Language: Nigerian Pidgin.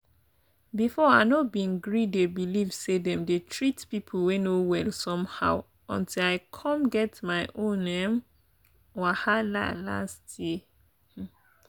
before i no bin gree dey believe say dem dey treat people wey no well somehow until i come get my own um wahala last year.